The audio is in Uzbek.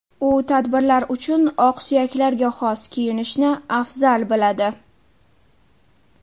U tadbirlar uchun oqsuyaklarga xos kiyinishni afzal biladi.